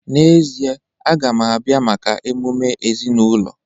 N'ezie, a ga m abịa maka emume ezinụlọ.